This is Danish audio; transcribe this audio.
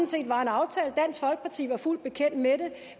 set var en aftale dansk folkeparti var fuldt bekendt med den